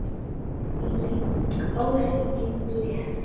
Þvílík, ósvikin gleði.